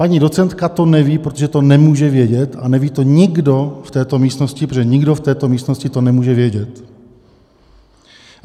Paní docentka to neví, protože to nemůže vědět a neví to nikdo v této místnosti, protože nikdo v této místnosti to nemůže vědět.